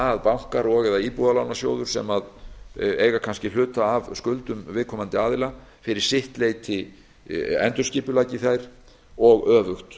að bankar og eða íbúðalánasjóður sem eiga kannski hluta af skuldum viðkomandi aðila fyrir sitt leyti endurskipuleggi þær og öfugt